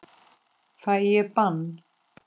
Fæ ég bann?